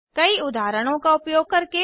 कई उदाहरणों का उपयोग करके